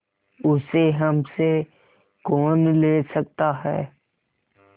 उसे हमसे कौन ले सकता है